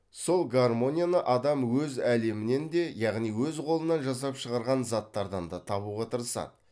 сол гармонияны адам өз әлемінен де яғни әз қолынан жасап шығарған заттардан да табуға тырысады